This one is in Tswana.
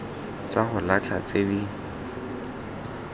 tsa go latlha tse di